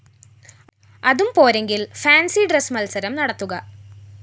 അതും പോരെങ്കില്‍ fancy dress മത്സരം നടത്തുക